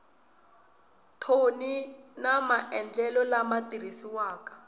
thoni na maendlelo lama tirhisiwaka